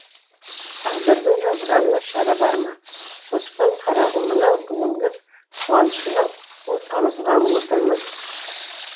тағдырдың жазғанына шара бар ма қоспан қарағым мынау бүгінгі қуанышыңа у тамызғалы отырмын